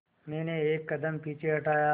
मैंने एक कदम पीछे हटाया